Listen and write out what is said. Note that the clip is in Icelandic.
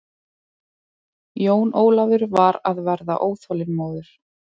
Jón Ólafur var að verða óþolinmóður.